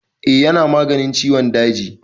Eh ya na maganin ciwon daji.